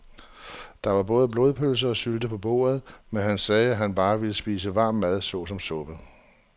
Der var både blodpølse og sylte på bordet, men han sagde, at han bare ville spise varm mad såsom suppe.